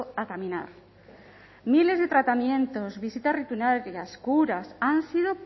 a caminar miles de tratamientos visitas rutinarias curas han sido